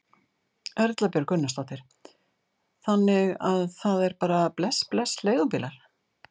Erla Björg Gunnarsdóttir: Þannig að það er bara bless bless leigubílar?